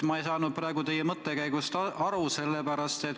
Ma ei saa nüüd teie mõttekäigust aru.